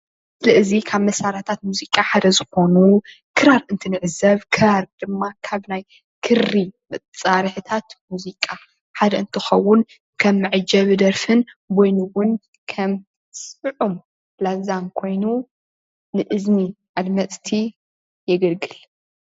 እዚ ምስሊ ባህላዊ መሳርሒ ሙዚቃ ኮይኑ ክራር ይበሃል።